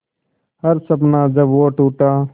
हर सपना जब वो टूटा